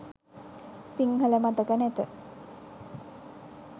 සිංහල මතක නැත